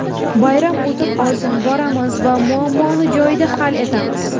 Bayram o‘tib olsin, boramiz va muammoni joyida hal etamiz”.